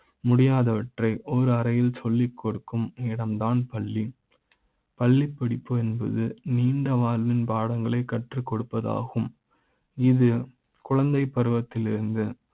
முடியாத வற்றை ஒரு அறை யில் சொல்லி கொடுக்கும் இடம்தான் பள்ளி பள்ளி படிப்பு என்பது நீண்ட வாழ்வின் பாட ங்களை கற்றுக்கொடு ப்பது ஆகும் இது குழந்தைப்பருவ த்திலிருந்து